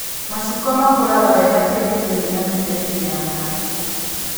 Macungwa makũraga wega tĩĩri-inĩ wĩna mĩberethi ya maĩ